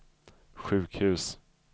sjukhus